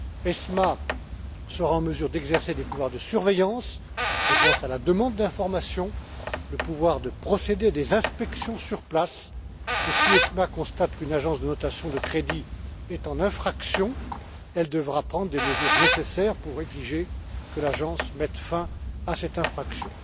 ESMA sera en mesure d'exercer des surveillances, je pense à la demande d'informations, au pouvoir de procéder à des inspections sur place, et si ESMA constate qu'une agence de notation de crédits est en infraction, elle devra prendre les mesures nécessaires pour exiger que l'agence mette fin à cette infraction.